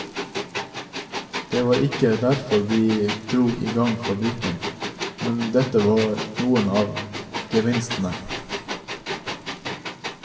Det var ikke derfor vi drog i gang fabrikken, men dette var noen av gevinstene.